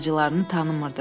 Bacılarını tanımırdı.